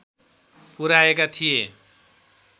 पुर्‍याएका थिए